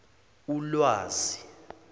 ulwazi